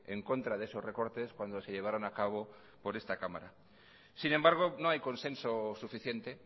en contra de esos recortes cuando se llevaron a cabo por esta cámara sin embargo no hay consenso suficiente